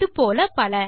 இது போல பல